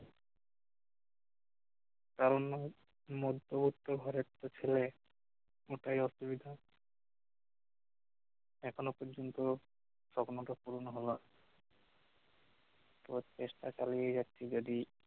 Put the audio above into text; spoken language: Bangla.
কারণ অন্য মধ্যবিত্ত ঘরের যে ছেলে ওটাই অসুবিধা এখনও পর্যন্ত সপ্ন টা পুরন হওয়ার তো চেষ্টা চালিয়ে যাচ্ছি যদি কারোর